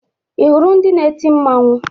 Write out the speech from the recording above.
Ị hụrụ ndị na-eti mmanwụ?